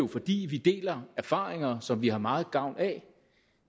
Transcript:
fordi vi deler erfaringer som vi har meget gavn af